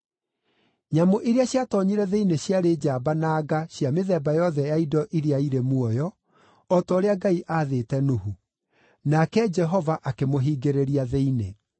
Nyamũ iria ciatoonyire thĩinĩ ciarĩ njamba na nga cia mĩthemba yothe ya indo iria irĩ muoyo, o ta ũrĩa Ngai aathĩte Nuhu. Nake Jehova akĩmũhingĩrĩria thĩinĩ.